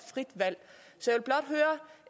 frit valg og